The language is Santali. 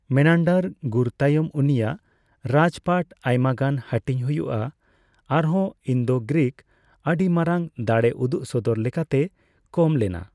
ᱢᱮᱱᱟᱱᱰᱟᱨ ᱜᱩᱨ ᱛᱟᱭᱚᱢ ᱩᱱᱤᱭᱟᱜ ᱨᱟᱡᱽᱯᱟᱴ ᱟᱭᱢᱟ ᱜᱟᱱ ᱦᱟᱹᱴᱤᱧ ᱦᱩᱭᱩᱜᱼᱟ ᱟᱨᱦᱚᱱ ᱤᱱᱫᱳᱼᱜᱨᱤᱠ ᱟᱹᱰᱤ ᱢᱟᱨᱟᱝ ᱫᱟᱲᱮ ᱩᱫᱩᱜ ᱥᱚᱫᱚᱨ ᱞᱮᱠᱟᱛᱮ ᱠᱚᱢ ᱞᱮᱱᱟ᱾